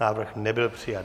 Návrh nebyl přijat.